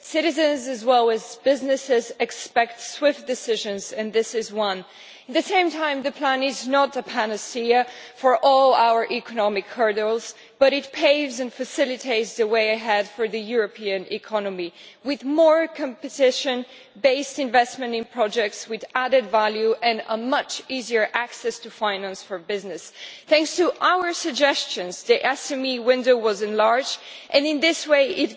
Citizens, as well as businesses, expect swift decisions and this is one. At the same time, the plan is not a panacea for all our economic hurdles but it paves and facilitates the way ahead for the European economy, with more competition based investment in projects with added value and a much easier access to finance for business. Thanks to our suggestions, the SME window was enlarged and, in this way, has